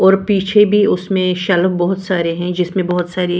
और पीछे भी उसमें शेल्फ बहुत सारे हैं जिसमें बहुत सारी --